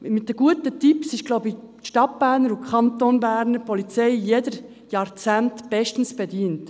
Die Polizei der Stadt und des Kantons Bern ist mit guten Tipps stets gut bedient.